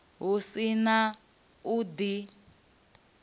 hu si na u di